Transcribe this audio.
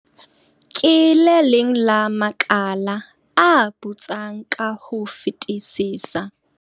"Ke le leng la makala a putsang ka ho fetisisa."